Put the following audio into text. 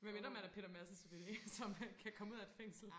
med mindre man er Peter Madsen selvfølgelig så man kan komme ud af et fængsel